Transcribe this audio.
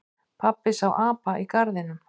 Pabbi sá apa í garðinum.